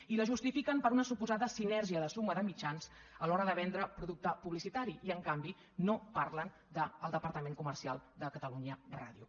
i la justifiquen per una suposada sinergia de suma de mitjans a l’hora de vendre producte publicitari i en canvi no parlen del departament comercial de catalunya ràdio